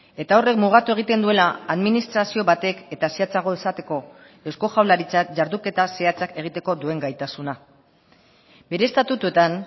eta horrek mugatu egiten duela administrazio batek eta zehatzago esateko eusko jaurlaritzak jarduketa zehatzak egiteko duen gaitasuna bere estatutuetan